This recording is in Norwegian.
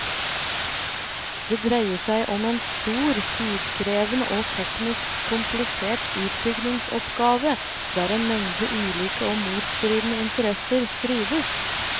Det dreier seg om en stor, tidkrevende og teknisk komplisert utbyggingsoppgave der en mengde ulike og motstridende interesser strides.